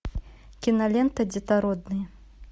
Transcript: кинолента детородные